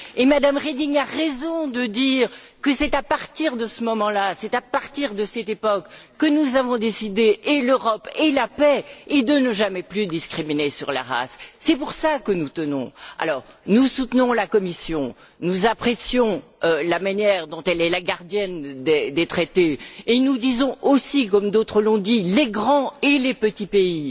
Madame Reding a raison de dire que c'est à partir de ce moment là, à partir de cette époque, que nous avons décidé, et l'Europe, et la paix, et de ne jamais plus discriminer sur la race. C'est à cela que nous tenons. Nous soutenons la Commission, nous apprécions la manière dont elle est la gardienne des traités et nous disons aussi, comme d'autres l'ont dit les grands et les petits pays.